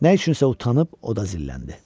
Nə üçünsə utanıb oda zilləndi.